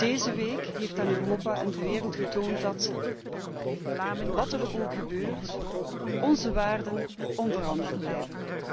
Deze week heeft aan Europa en de wereld getoond dat, wat er ook gebeurt, onze waarden onveranderd blijven.